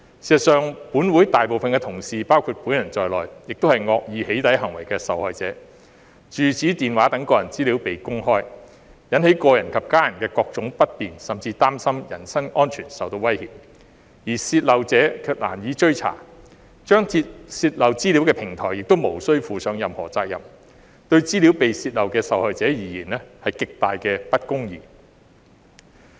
事實上，本會大部分同事和我本人也是惡意"起底"行為的受害者；住址、電話號碼等個人資料被公開，引起個人及家人的各種不便，甚至令他們擔心人身安全受威脅，而泄漏者卻難以追査，張貼泄漏資料的平台亦無須負上任何責任，對資料被泄漏的受害者而言是極大的不公義。